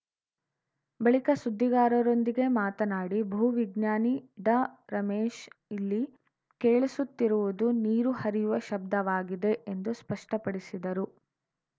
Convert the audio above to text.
ಬಳಿಕ ಸುದ್ದಿಗಾರರೊಂದಿಗೆ ಮಾತನಾಡಿ ಭೂವಿಜ್ಞಾನಿ ಡಾರಮೇಶ್‌ ಇಲ್ಲಿ ಕೇಳಿಸುತ್ತಿರುವುದು ನೀರು ಹರಿಯುವ ಶಬ್ದವಾಗಿದೆ ಎಂದು ಸ್ಪಷ್ಟಪಡಿಸಿದರು